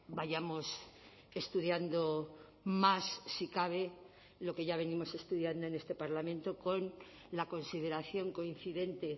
vayamos estudiando más si cabe lo que ya venimos estudiando en este parlamento con la consideración coincidente